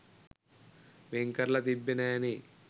වෙන් කරලා තිබ්බෙ නෑ නේ